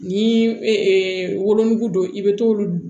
Ni wolonugu don i bɛ t'olu